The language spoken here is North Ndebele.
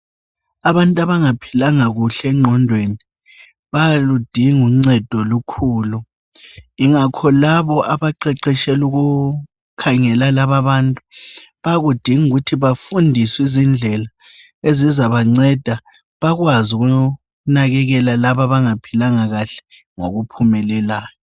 Abantu abangaphilanga kahle engqondweni bayaludinga ungcedo olukhulu ingakho laba abaqeqeshela ukukhangela laba abantu bayakudinga ukuthi bafundiswe izindlela ezizabangceda bakwaz ukukhangela laba abangaphilanga kahle ngokuphumelelana